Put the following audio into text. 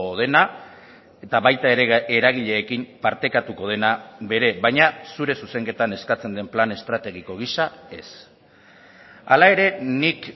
dena eta baita ere eragileekin partekatuko dena bere baina zure zuzenketan eskatzen den plan estrategiko gisa ez hala ere nik